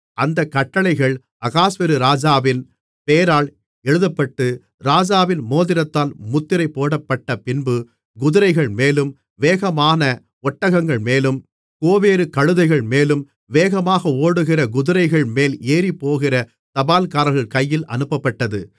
அந்தக் கட்டளைகள் அகாஸ்வேரு ராஜாவின் பெயரால் எழுதப்பட்டு ராஜாவின் மோதிரத்தால் முத்திரை போடப்பட்டபின்பு குதிரைகள்மேலும் வேகமான ஒட்டகங்கள்மேலும் கோவேறு கழுதைகள்மேலும் வேகமாக ஓடுகிற குதிரைகள் மேல்ஏறிப்போகிற தபால்காரர்கள் கையில் அனுப்பப்பட்டது